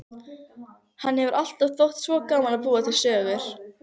Henni hefur alltaf þótt svo gaman að búa til sögur.